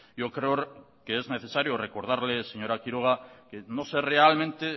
yo creo que es necesario recordarle señora quiroga que no sé realmente